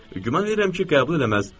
Güman verirəm ki, qəbul eləməz.